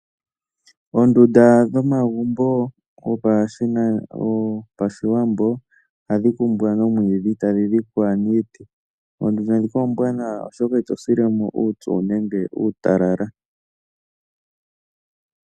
Oondunda dhomagumbo gopashiwambo ohadhi kumbwa nomwiidhi e tadhi dhikwa niiti. Oondunda ndhika oombwanawa, oshoka ito sile mo uupyu nenge uutalala.